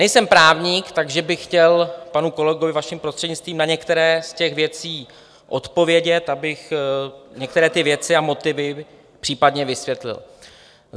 Nejsem právník, takže bych chtěl panu kolegovi, vaším prostřednictvím, na některé z těch věcí odpovědět, abych některé ty věci a motivy případně vysvětlil.